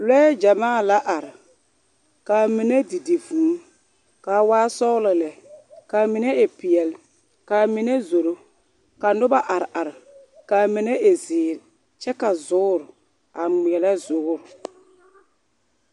Lure gyamaa la are ka mine didi vūū kaa waa sɔŋlɔ lɛ kaa mine e pɛle kaa mine zoro ka noba are are ka mine e ziire kyɛ ka zuuro a gmele zuuro.